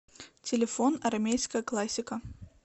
телефон армейская классика